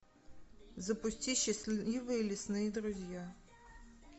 запусти счастливые лесные друзья